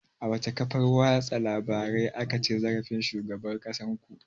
A wace kafar watsa labarai aka ci zarafin shugaban ƙasar ku?